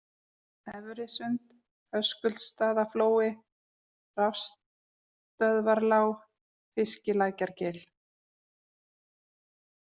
Efrisund, Höskuldsstaðaflói, Rafstsöðvarlág, Fiskilækjargil